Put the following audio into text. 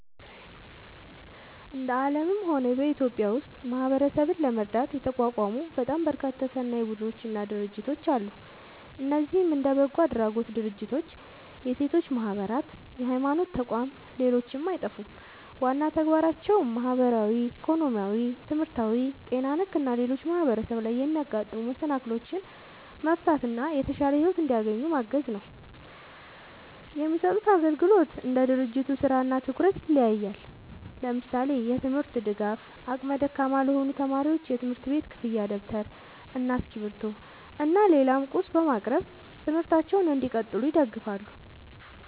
እንደ አለምም ሆነ በኢትዮጵያ ውስጥ ማህበረሰብን ለመርዳት የተቋቋሙ በጣም በርካታ ሰናይ ቡድኖች እና ድርጅቶች አለ። እነዚህም እንደ በጎ አድራጎት ድርጅቶች፣ የሴቶች ማህበራት፣ የሀይማኖት ተቋም ሌሎችም አይጠፉም። ዋና ተግባራቸውም ማህበራዊ፣ ኢኮኖሚያዊ፣ ትምህርታዊ፣ ጤና ነክ እና ሌሎችም ማህበረሰብ ላይ የሚያጋጥሙ መሰናክሎችን መፍታት እና የተሻለ ሒወት እንዲያገኙ ማገዝ ነው። የሚሰጡት አግልግሎት እንደ ድርጅቱ ስራ እና ትኩረት ይለያያል። ለምሳሌ፦ የትምርት ድጋፍ አቅመ ደካማ ለሆኑ ተማሪዎች የትምህርት ቤት ክፍያ ደብተር እና እስክሪብቶ እና ሌላም ቁስ በማቅረብ ትምህርታቸውን እንዲቀጥሉ ይደግፋሉ